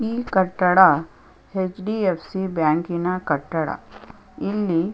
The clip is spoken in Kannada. ಈ ಕಟ್ಟಡ ಹೆಚ್.ಡಿ.ಎಫ್.ಸಿ ಬ್ಯಾಂಕಿನ ಕಟ್ಟಡ ಇಲ್ಲಿ--